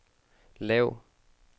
lav